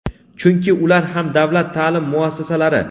chunki ular ham davlat ta’lim muassasalari.